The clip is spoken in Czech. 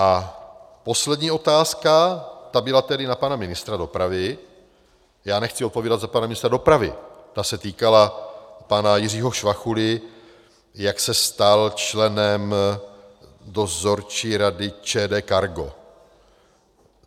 A poslední otázka, ta byla tedy na pana ministra dopravy, já nechci odpovídat za pana ministra dopravy, ta se týkala pana Jiřího Švachuly, jak se stal členem dozorčí rady ČD CARGO.